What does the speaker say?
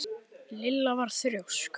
En það hef ég gert.